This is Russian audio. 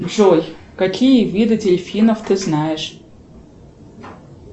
джой какие виды дельфинов ты знаешь